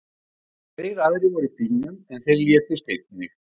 Tveir aðrir voru í bílnum, en þeir létust einnig.